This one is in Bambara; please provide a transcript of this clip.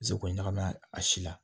Seko ɲagami a si la